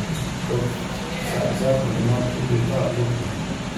Kot vsak zakon, ima tudi ta luknje.